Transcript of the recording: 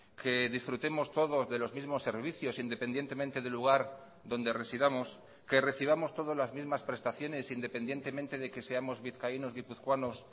que disfrutemos todos de los mismos servicios independientemente del lugar donde residamos que recibamos todos las mismas prestaciones independientemente de que seamos vizcaínos guipuzcoanos